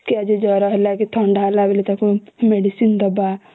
କି ଆଜି ଜର ହେଲା କି ଥଣ୍ଡା ହେଲା medicine ଦେବା